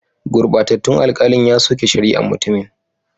Gurbatattun alkalin ya soke shari'an mutumin.